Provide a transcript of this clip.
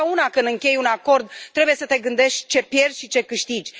Totdeauna, când închei un acord, trebuie să te gândești ce pierzi și ce câștigi.